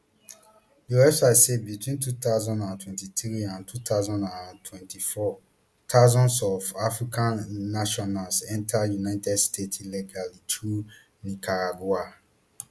di website say between two thousand and twenty-three and two thousand and twenty-four thousands of african nationals enta united states illegally through nicaragua